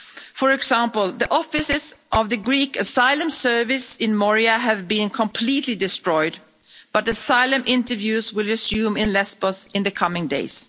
For example, the offices of the Greek asylum service in Moria have been completely destroyed, but asylum interviews will resume in Lesbos in the coming days.